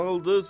Dağıldız.